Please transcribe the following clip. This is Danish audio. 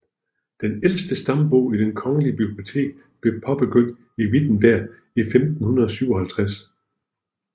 Den ældste stambog i Det kongelige Bibliotek blev påbegyndt i Wittenberg 1557